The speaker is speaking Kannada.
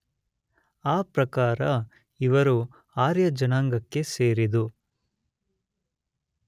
ಆ ಪ್ರಕಾರ ಇವರು ಆರ್ಯಜನಾಂಗಕ್ಕೆ ಸೇರದೆ